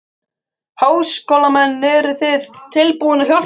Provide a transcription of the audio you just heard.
Háskólamenn, eruð þið tilbúnir að hjálpa til?